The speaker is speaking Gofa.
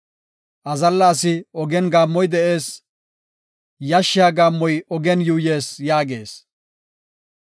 “Azalla asi ogen gaammoy de7ees; yashshiya gaammoy ogen yuuyees” yaagees.